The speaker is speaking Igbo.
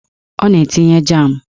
Ọ na-etinye jam